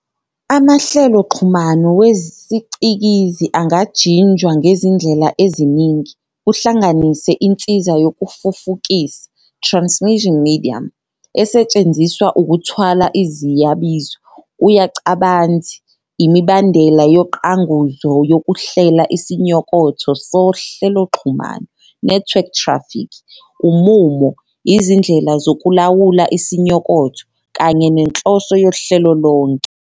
Amahleloxhumano wesicikizi angajinjwa ngezindlela eziningi, kuhlanganise insiza yokufufukisa "transmission medium" esetshenziswa ukuthwala iziyabizo, uyacabanzi, imibandela yoqanguzo yokuhlela isinyokotho sohleloxhumano "network traffic", umumo, izindlela zokulawula isinyokotho, kanye nenhloso yohlelo lonke.